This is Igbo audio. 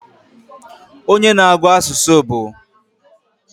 Onye na-agu asusu bu?